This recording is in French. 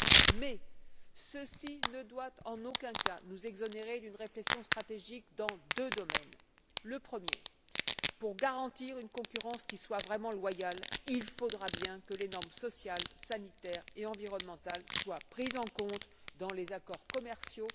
Mais ceci ne doit en aucun cas nous exonérer d'une réflexion stratégique dans deux domaines. Premier point pour garantir une concurrence qui soit vraiment loyale, il faudra bien que les normes sociales, sanitaires et environnementales soient prises en compte dans les accords commerciaux.